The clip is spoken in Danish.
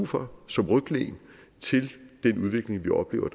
for som ryglæn til den udvikling vi oplever